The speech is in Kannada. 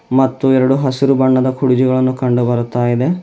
ಮತ್ತು ಎರಡು ಹಸಿರು ಬಣ್ಣದ ಕುರ್ಚಿಗಳನ್ನು ಕಂಡು ಬರ್ತಾ ಇದೆ.